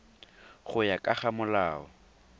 go ya ka ga molao